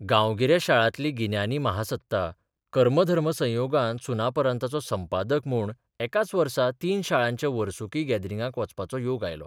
गांवगिऱ्या शाळांतली गिन्यानी महासत्ता कर्मधर्मसंयोगान सुनापरान्ताचो संपादक म्हूण एकाच वर्सा तीन शाळांच्या वर्सुकी गॅदरिंगांक वचपाचो योग आयलो.